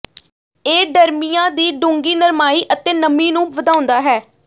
ਇਹ ਡਰਮੀਆਂ ਦੀ ਡੂੰਘੀ ਨਰਮਾਈ ਅਤੇ ਨਮੀ ਨੂੰ ਵਧਾਉਂਦਾ ਹੈ